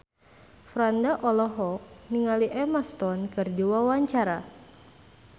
Franda olohok ningali Emma Stone keur diwawancara